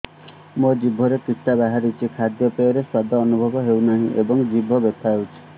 ମୋ ଜିଭରେ କିଟା ବାହାରିଛି ଖାଦ୍ଯୟରେ ସ୍ୱାଦ ଅନୁଭବ ହଉନାହିଁ ଏବଂ ଜିଭ ବଥା ହଉଛି